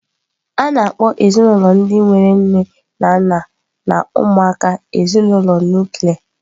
A na-akpọ ezinụlọ ndị nwere nne na nna na ụmụaka ezinụlọ nuklia